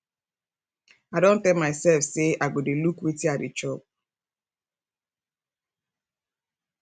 i don tell my self say i go dey look wetin i dey chop